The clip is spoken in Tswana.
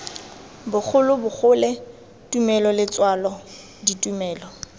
bogolo bogole tumelo letswalo ditumelo